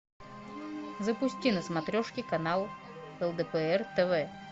запусти на смотрешке канал лдпр тв